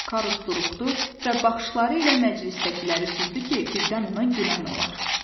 Karus duruxdu və baxışları ilə məclisdəkiləri süzdü ki, birdən ona gülən olar.